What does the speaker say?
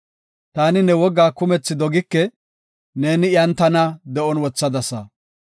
Taani ne wogaa kumethi dogike; neeni iyan tana de7on wothadasa.